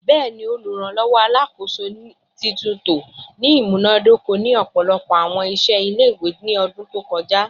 Bẹẹni, Oluranlọwọ Alakoso/titunto ni imunadoko ni ọpọlọpọ awọn iṣẹ ile-iwe ni ọdun ẹkọ to kọja